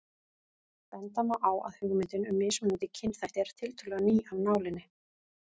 Benda má á að hugmyndin um mismunandi kynþætti er tiltölulega ný af nálinni.